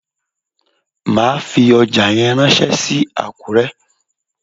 Màá fi ọjà yẹn ránsé sí Àkúré